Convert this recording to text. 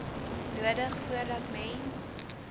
nodig voordat mens